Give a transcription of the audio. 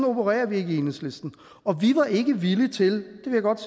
opererer vi ikke i enhedslisten og vi var ikke villige til